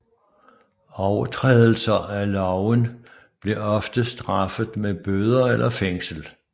Overtrædelser af loven blev ofte straffet med bøder eller fængsel